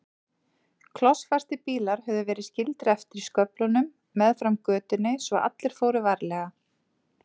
Klossfastir bílar höfðu verið skildir eftir í sköflunum meðfram götunni svo allir fóru varlega.